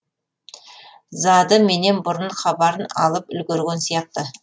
зады менен бұрын хабарын алып үлгерген сияқты